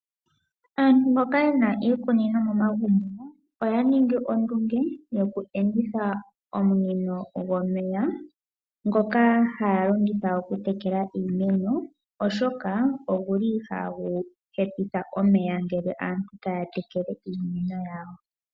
Aantu mboka yena iikunino momagumbo oya ningi ondunge yoku enditha ominino dhomeya ndhoka haya longitha okutekela iimeno, oshoka oguli ihagu hepitha omeya ngele aantu taya tekele iimeno yawo.